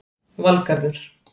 Valgarður